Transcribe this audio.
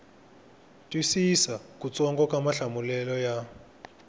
twisisa kutsongo ka mahlamulelo ya